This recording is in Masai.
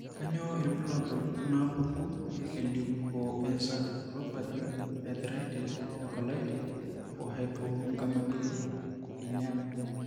Kainyio irbulabul onaapuku eLeukoencephalopathy, eearthritis, ecolitis, o hypogammaglobulinema?